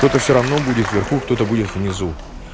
кто-то всё равно будет в верху кто-то будет внизу